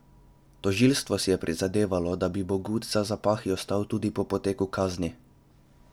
Tožilstvo si je prizadevalo, da bi Bogut za zapahi ostal tudi po poteku kazni.